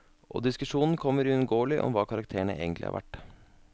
Og diskusjonen kommer uunngåelig om hva karakterene egentlig er verd.